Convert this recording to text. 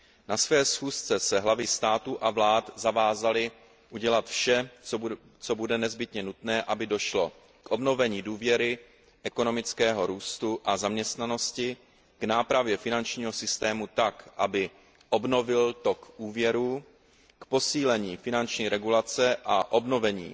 Na své schůzce se hlavy států a vlád zavázaly udělat vše, co bude nezbytně nutné, aby došlo k obnovení důvěry, ekonomického růstu a zaměstnanosti, k nápravě finančního systému tak, aby obnovil tok úvěrů, k posílení finanční regulace a obnovení